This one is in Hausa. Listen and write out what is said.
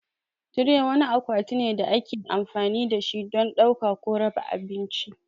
Tire wani akwati ne da ake amfani da shi don ɗauka ko raba abinci.